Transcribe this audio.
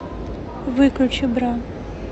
выключи бра